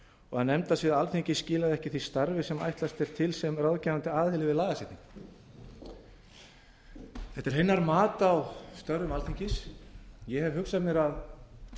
og að nefndasvið alþingis skilaði ekki því starfi sem ætlast er til sem ráðgefandi aðili við lagasetningu þetta er hennar mat á störfum alþingis ég hef hugsað mér að